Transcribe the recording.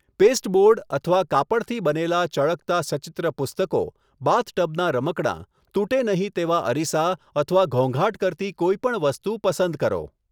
Pasteboard અથવા કાપડથી બનેલા ચળકતા સચિત્ર પુસ્તકો, બાથટબના રમકડાં, તૂટે નહીં તેવા અરિસા અથવા ઘોંઘાટ કરતી કોઈપણ વસ્તુ પસંદ કરો.